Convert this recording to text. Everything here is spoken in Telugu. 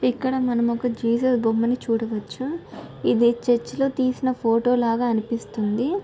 ఇక్కడ మనం ఒక జీసస్ బొమ్మని చూడవొచ్చు ఇది చేర్చి లో తీసిన ఫోటో లాగా అనిపిస్తుంది.